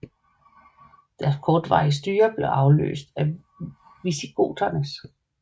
Deres kortvarige styre blev afløst af visigoternes